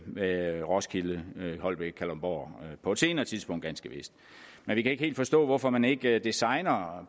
med roskilde holbæk kalundborg på et senere tidspunkt ganske vist men vi kan ikke helt forstå hvorfor man ikke designer